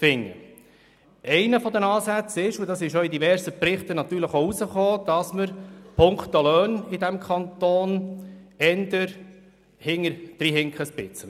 Einerseits – und auch das ging aus verschiedenen Berichten hervor – hinken wir bei den Löhnen hinterher.